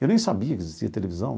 Eu nem sabia que existia televisão.